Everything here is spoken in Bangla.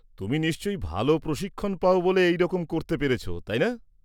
-তুমি নিশ্চয়ই ভালো প্রশিক্ষণ পাও এই রকম করতে পেরেছ, তাই না?